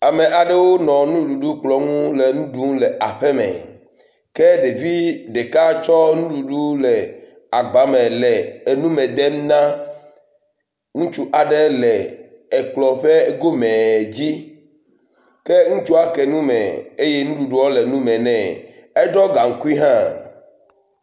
Ame aɖewo nɔ nuɖuɖ kplɔ nu le nu ɖum le aƒeme ke ɖevi ɖeka tsɔ nuɖuɖu le agbame le nume dema na ŋutsu aɖe le ekplɔ ƒe gomee dzi. Ke ŋutsua ke nu me eye nuɖuɖua le nume nɛ. Eɖɔ gaŋkui hã.